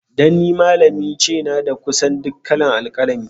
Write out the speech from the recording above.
Dan ni malami ce, n'na da kusan duk kala'n alkalami.